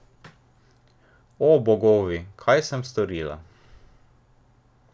O, bogovi, kaj sem storila?